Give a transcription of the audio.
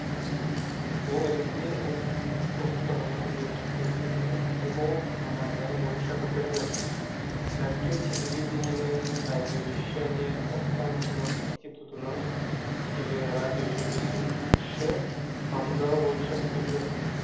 ол ресей ұлт достығының университетінің филолог мамандығы бойынша бітірді мәскеу телевидениемен радиовещание останкино институтының телерадиожүргізуші мамандығы бойынша бітірді